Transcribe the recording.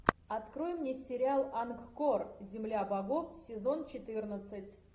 открой мне сериал ангкор земля богов сезон четырнадцать